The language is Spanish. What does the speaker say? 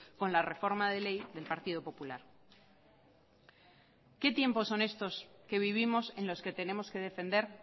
con la reforma de ley del partido popular qué tiempos son estos que vivimos en los que tenemos que defender